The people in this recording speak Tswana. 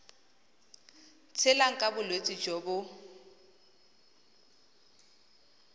tshelang ka bolwetsi jo bo